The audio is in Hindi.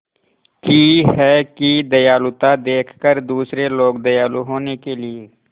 की है कि दयालुता देखकर दूसरे लोग दयालु होने के लिए